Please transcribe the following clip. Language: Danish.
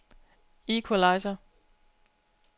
equalizer